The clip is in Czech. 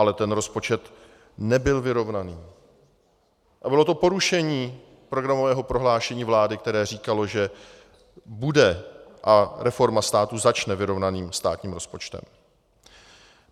Ale ten rozpočet nebyl vyrovnaný a bylo to porušení programového prohlášení vlády, které říkalo, že bude a reforma státu začne vyrovnaným státním rozpočtem.